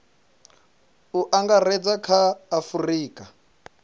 u angaredza kha a afurika